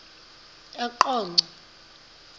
eqonco